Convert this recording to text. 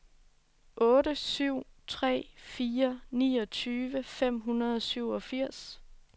otte syv tre fire niogtyve fem hundrede og syvogfirs